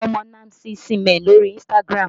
Mo mọ Nancy Isime lórí Instagram